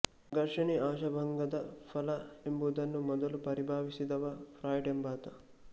ಘರ್ಷಣೆ ಆಶಾಭಂಗದ ಫಲ ಎಂಬುದನ್ನು ಮೊದಲು ಪರಿಭಾವಿಸಿದವ ಫ್ರಾಯ್ಡ್ ಎಂಬಾತ